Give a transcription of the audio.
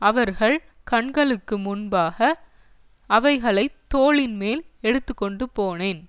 அவர்கள் கண்களுக்கு முன்பாக அவைகளை தோளின்மேல் எடுத்துக்கொண்டுபோனேன்